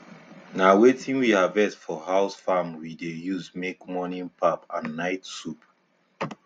na wetin we harvest for house farm we dey use make morning pap and night soup